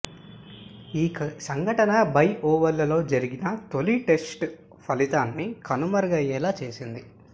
ఈ సంఘటన బే ఓవల్లో జరిగిన తొలి టెస్టు ఫలితాన్ని కనుమరుగయ్యేలా చేసింది